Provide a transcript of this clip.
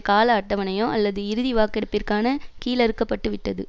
கால அட்டவணையோ அல்லது இறுதி வாக்கெடுப்பிற்கான கீழறுக்கப்பட்டு விட்டது